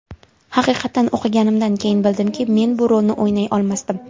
Haqiqatan o‘qiganimdan keyin bildimki, men bu rolni o‘ynay olmasdim.